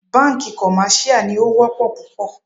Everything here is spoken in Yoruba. Bánkì commercial ní o wọ́pọ̀ púpọ̀.